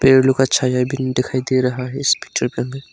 पेड़ लोग का छाया भी दिखाई दे रहा है इस पिक्चर का अंदर।